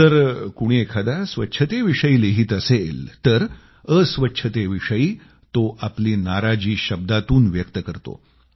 जर कोणी एखादा स्वच्छतेविषयी लिहीत असेल तर अस्वच्छतेविषयी तो आपली नाराजी शब्दातून व्यक्त करतो